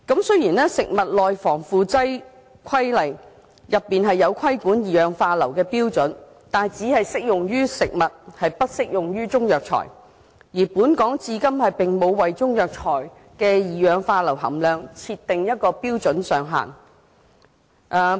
雖然《食物內防腐劑規例》載有規管二氧化硫的標準，但它只適用於食物，並不適用於中藥材，而本港至今並無為中藥材的二氧化硫含量設定標準上限。